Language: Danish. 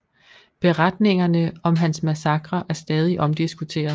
Beretningerne om hans massakrer er stadig omdiskuteret